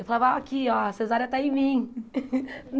Eu falava, ó, aqui ó, a cesárea está em mim.